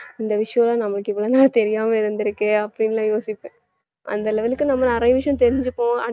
இந்த விஷயம் நம்மக்கு இவளோ நாள் தெரியாம இருந்துருக்கு அப்படினுலாம் யோசிப்பேன் அந்த level க்கு நம்ம நிறைய விஷயம் தெரிஞ்சுப்போம்